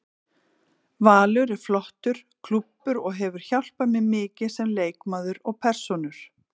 Valur er flottur klúbbur og hefur hjálpað mér mikið sem leikmaður og persónu.